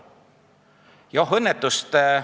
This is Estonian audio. Aga oh õnnetust!